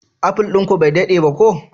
Apple din ku bai dade ba ko?